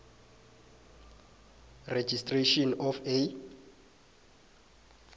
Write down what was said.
registration of a